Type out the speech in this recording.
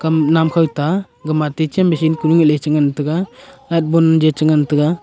umh namkhow ta gama techem machine konu ehley chengan tega light bon je chengan tega.